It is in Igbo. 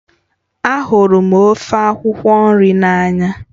Ahụrụ m ofe akwukwo nri n'anya